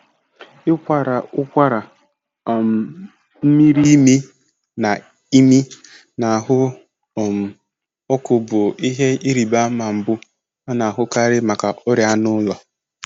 Ịkwara ụkwara, um mmiri imi, na imi, na ahụ um ọkụ bụ ihe ịrịba ama mbụ a na-ahụkarị maka ọrịa anụ ụlọ.